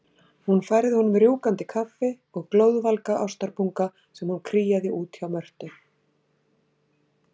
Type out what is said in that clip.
Hún færði honum rjúkandi kaffi og glóðvolga ástarpunga sem hún kríaði út hjá Mörtu.